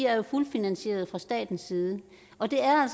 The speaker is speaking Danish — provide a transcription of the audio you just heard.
er fuldt finansieret fra statens side og det er